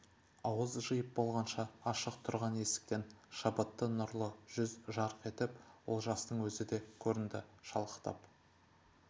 ауыз жиып болғанша ашық тұрған есіктен шабытты нұрлы жүз жарқ етіп олжастың өзі де көрінді шалықтап